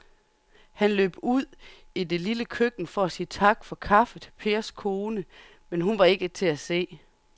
Han løb ud i det lille køkken for at sige tak for kaffe til Pers kone, men hun var ikke til at se.